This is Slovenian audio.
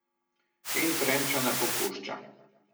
In trend še ne popušča ...